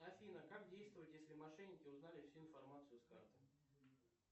афина как действовать если мошенники узнали всю информацию с карты